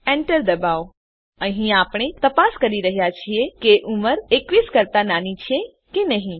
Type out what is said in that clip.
enter દબાવો અહીં આપણે તપાસ કરી રહ્યા છીએ કે ઉંમર ૨૧ કરતા નાની છે કે નહી